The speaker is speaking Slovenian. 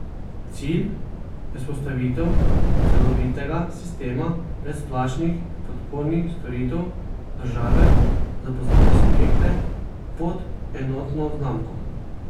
Cilj je vzpostavitev celovitega sistema brezplačnih podpornih storitev države za poslovne subjekte pod enotno znamko.